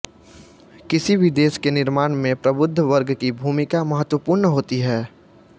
किसी भी देश के निर्माण में प्रबुद्ध वर्ग की भूमिका महत्वपूर्ण होती है